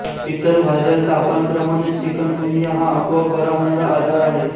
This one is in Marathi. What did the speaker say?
इतर व्हायरल तापांप्रमाणेच चिकनगुनिया हा आपोआप बरा होणारा आजार आहे